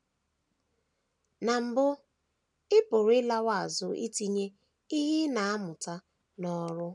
Na mbụ, ị pụrụ ịlawo azụ itinye ihe ị na - amụta n’ọrụ.